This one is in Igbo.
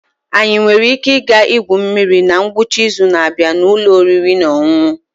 Anyị nwere ike ịga igwu mmiri na ngwụcha izu na-abịa na ụlọ oriri na ọṅụṅụ?